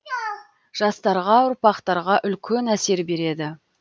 жастарға ұрпақтарға үлкен әсер береді